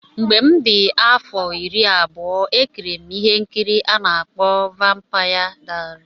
Mgbe m dị afọ iri abụọ E kiri M ihe nkiri a na-akpọ Vampaya Dayari.